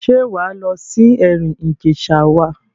Ṣé wà á lọ sí Ẹ̀rìn Ìjẹ̀ṣà wa?